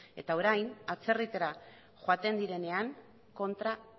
eta orain atzerritara joaten direnean kontra